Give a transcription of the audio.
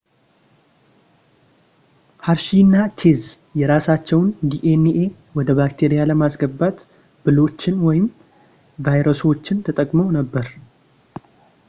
ሀርሺ እና ቼዝ የራሳቸውን ዲኤንኤ ወደ ባክቴሪያ ለማስገባት ብሎችን ወይም ቫይረሶችን ተጠቅመው ነበር